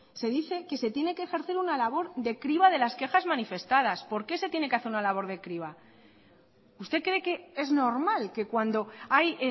se dice que se tiene que ejercer una labor de criba de las quejas manifestadas por qué se tiene que hacer una labor de criba usted cree que es normal que cuando hay